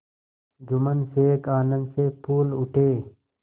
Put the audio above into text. जुम्मन शेख आनंद से फूल उठे